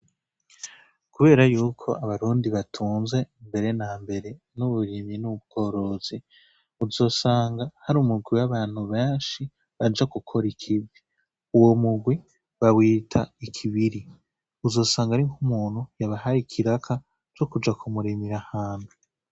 Kubera yuko abarundi batunze mbere na mbere n'uburimyi n'ubworozi uzosanga hari umugwi w'abantu benshi baja gukora ikibwe uwo mugwi bawiita ikibiri uzosanga ari nk'umuntu yabahari ikiraka co kuja kumuremira hante.